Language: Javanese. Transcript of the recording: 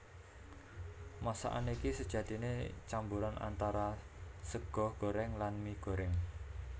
Masakan iki sejatiné camboran antara sega gorèng lan mie gorèng